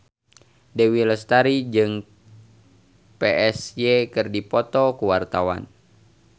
Dewi Lestari jeung Psy keur dipoto ku wartawan